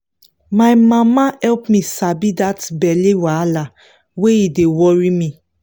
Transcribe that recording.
my mama help me sabi that belly wahala when e dey worry me